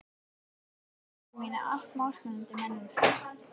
Skulu sveinar mínir, allt málsmetandi menn úr